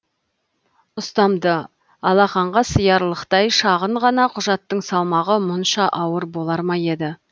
ұстамды алақанға сыярлықтай шағын ғана құжаттың салмағы мұнша ауыр болар ма еді